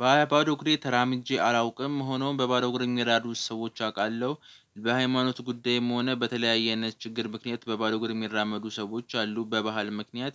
ባዶ እግሬን ተራምጄ አላውቅም ሆኖም በባዶ እግር ሜራመድ ሰዎች አውቃለሁ በሃይማኖት ጉዳይም ሆነ በተለያየነት ችግር ምክንያት በባዶ ግርሜራመዱ ሰዎች አሉ በባህል ምክንያት።